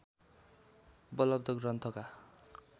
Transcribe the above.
उपलब्ध ग्रन्थका